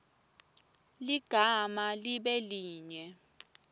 ligama libe linye